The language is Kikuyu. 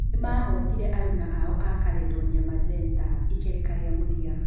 Nĩmahotire aruna ao a Caledonia Magenta ikereka rĩa mũthia